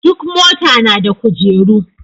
Duk mota na da kujeru.